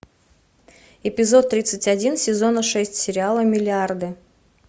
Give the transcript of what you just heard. эпизод тридцать один сезона шесть сериала миллиарды